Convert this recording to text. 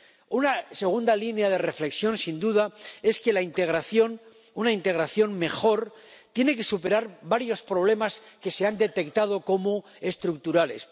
Una segunda línea de reflexión, sin duda, es que la integración, una integración mejor, tiene que superar varios problemas que se han detectado como estructurales.